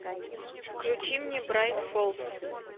включи мне брайт фолз